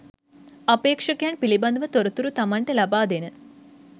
අපේක්ෂකයන් පිළිබඳව තොරතුරු තමන්ට ලබාදෙන